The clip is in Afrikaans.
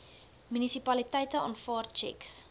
munisipaliteite aanvaar tjeks